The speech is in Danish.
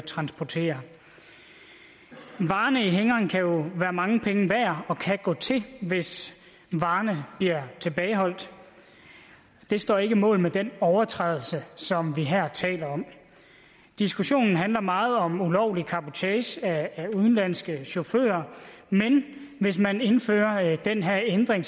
transporterer varerne i anhængeren kan jo være mange penge værd og kan gå til hvis varerne bliver tilbageholdt det står ikke mål med den overtrædelse som vi her taler om diskussionen handler meget om ulovlig cabotage af udenlandske chauffører men hvis man indfører den her ændring